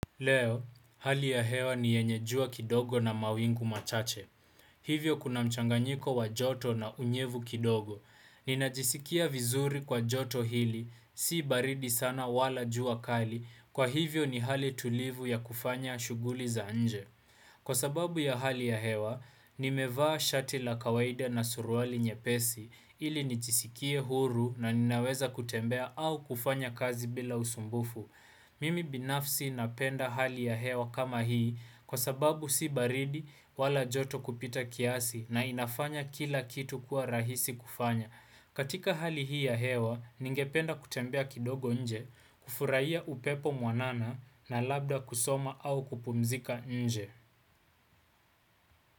Leo, hali ya hewa ni yenye jua kidogo na mawingu machache. Hivyo kuna mchanganyiko wa joto na unyevu kidogo. Ninajisikia vizuri kwa joto hili, si baridi sana wala jua kali, kwa hivyo ni hali tulivu ya kufanya shuguli za nje. Kwa sababu ya hali ya hewa, nimevaa shati la kawaida na suruali nyepesi, ili nijisikie huru na ninaweza kutembea au kufanya kazi bila usumbufu. Mimi binafsi napenda hali ya hewa kama hii kwa sababu si baridi wala joto kupita kiasi na inafanya kila kitu kuwa rahisi kufanya. Katika hali hii ya hewa, ningependa kutembea kidogo nje, kufurahia upepo mwanana na labda kusoma au kupumzika nje.